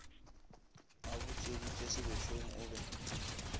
a butšweditše sebešong o be